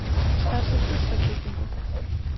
Fær sér burstaklippingu.